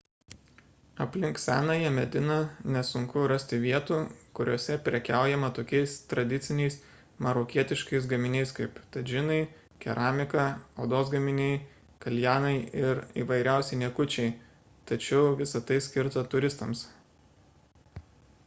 aplink senąją mediną nesunku rasti vietų kuriose prekiaujama tokiais tradiciniais marokietiškais gaminiais kaip tadžinai keramika odos gaminiai kaljanai ir įvairiausi niekučiai tačiau visa tai skirta turistams